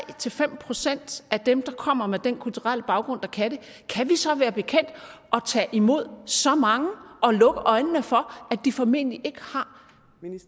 fem procent af dem der kommer med dén kulturelle baggrund der kan det kan vi så være bekendt at tage imod så mange og lukke øjnene for at de formentlig ikke har